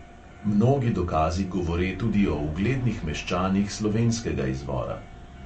Mnogi dokazi govore tudi o uglednih meščanih slovenskega izvora.